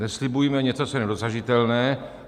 Neslibujme něco, co je nedosažitelné.